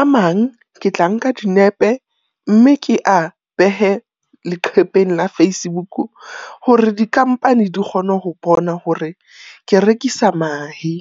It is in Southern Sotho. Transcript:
A mang ke tla nka dinepe mme ke a behe leqhepeng la Facebook hore di-company di kgone ho bona hore ke rekisa mahe.